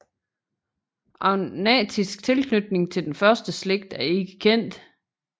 Agnatisk tilknytning til den første slægt er ikke kendt